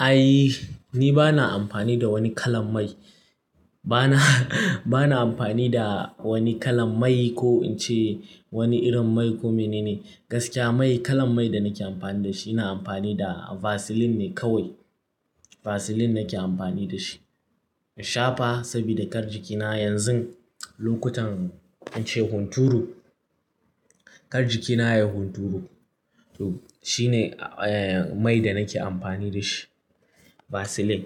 Ai ni bana amfani da wani kalan mai, bana, bana amfani da wani kalan mai ko in ce wani irin mai ko mene ne gaskiya mai kalan mai da nake amfani da shi, ina amfani da vaseline ne kawai. Vaseline nake amfani da shi. In shafa saboda kar jikina yanzu lokutan in ce hunturu, kar jikina yayi hunturu. To shine mai da nake amfani da shi vaseline.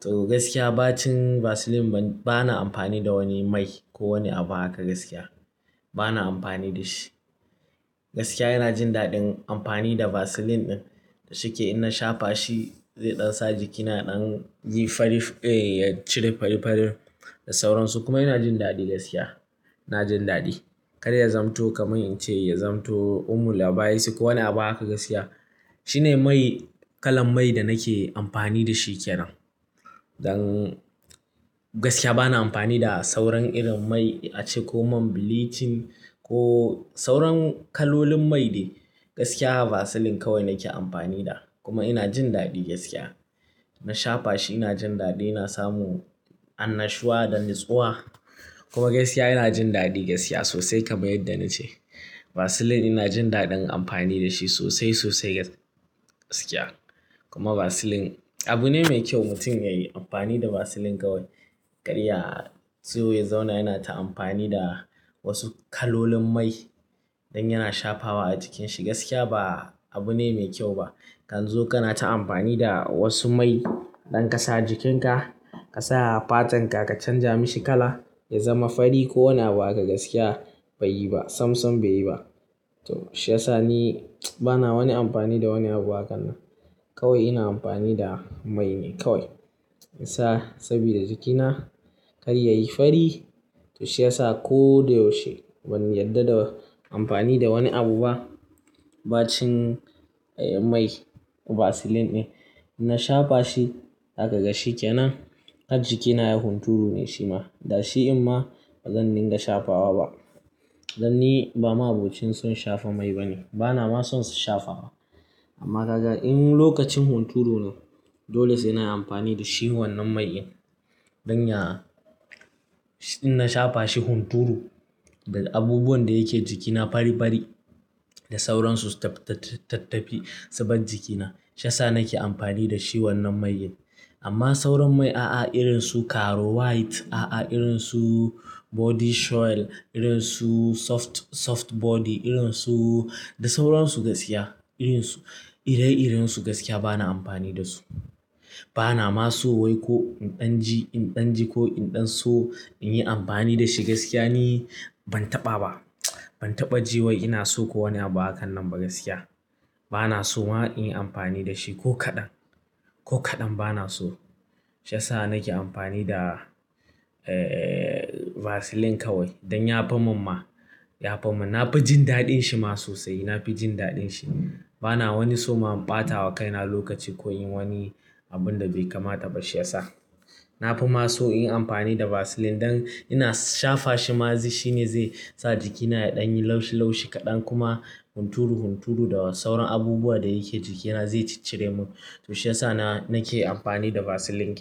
To gaskiya ba cin vaseline bana amfani da wani mai ko wani abu haka gaskiya bana amfani da shi. Gaskiya ina jin daɗin amfani da vaseline ɗin shike in na shafa shi zai ɗan sa jikina ɗan yayi fari, eh ya cire fari-farin da sauransu kuma ina jin daɗi gaskiya, ina jin daɗi. Kada ya zamto kamar in ce ya zamto umul aba'is ko wani abu haka gaskiya shine mai kalan mai da nake amfani da shi kenan. Don gaskiya bana amfani da sauran irin mai a ce ko mai bleaching ko sauran kalolin mai de gaskiya vaseline kawai nake amfani da kuma ina jin daɗi gaskiya. Na shafa shi ina jin daɗi, ina samu annashuwa da natsuwa kuma gaskiya ina jin daɗi gaskiya sosai kamar yadda na ce. Vaseline ina jin daɗin amfani da shi sosai, sosai gaskiya kuma vaseline abu ne mai kyau mutum yayi amfani da vaseline kawai. Karya so ya zauna yana ta amfani da wasu kalolin mai don yana shafawa a jikinshi gaskiya ba abu ne mai kyau ba. Kanzo kana ta amfani da wasu mai don ka sa jikinka, ka sa fatanka ka canja mishi kala ya zama fari ko wani abu haka gaskiya bai yi ba, sam-sam bai yi ba. To shi ya sa ni bana wani amfani da wani abu hakan nan. Kawai ina amfani da mai ne kawai. Sa saboda jikina kar yayi fari to shi ya sa ko da yaushe ban yarda da amfani da wani abu ba. Ba cin mai vaseline in na shafa shi zaka ga shi kenan. Kar jikina yayi hunturu ne shi ma. Da shi imma bazan dinga shafa wa ba. Dan ni ba ma'abocin son shafa mai ba ne. Bana ma son sa shafa ba. Amma kaga in lokacin hunturu dole sai ina amfani da shi wannan mai in. Don ya, in na shafa shi hunturu da abubuwan da yake jikina fari-fari da sauransu tattafi su bar jikina. Shi ya sa nake amfani da shi wannan mai in. Amma sauran mai a'a irin su karo white, a'a irin su body soil, irin su soft, soft body irin su da sauransu gaskiya irin su, ire-iren su gaskiya bana amfani da su. Bana ma so wai ko in ɗan ji, in ɗan ji ko in ɗan so in yi amfani da shi gaskiya ni ban taɓa ba. Ban taɓa ji wai ina so ko wani abu hakan nan ba gaskiya. Bana so ma in yi amfani da shi ko kaɗan, ko kaɗan bana so. Shi ya sa nake amfani da, eh vaseline kawai don ya fi min ma, ya fi min. Na fi jin daɗin shi ma sosai. Na fi jin daɗin shi. Bana wani so ma in ɓata wa kaina lokaci ko in yi wani abun da bai kamata ba shi ya sa. Na fi ma so in yi amfani da vaseline don ina shafa shi ma shi ne zai sa jikina ya ɗan yi laushi-laushi kaɗan kuma hunturu-hunturu da sauran abubuwa da yake jikina zai ciccire mu. To shi ya sa na, nake amfani da vaseline.